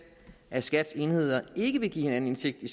at skats enheder ikke vil give hinanden indsigt i